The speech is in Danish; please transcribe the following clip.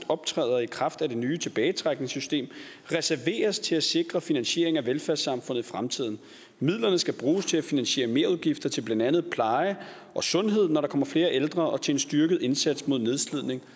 optræde i kraft af det nye tilbagetrækningssystem reserveres til at sikre finansiering af velfærdssamfundet i fremtiden midlerne skal bruges til at finansiere merudgifter til blandt andet pleje og sundhed når der kommer flere ældre og til en styrket indsats mod nedslidning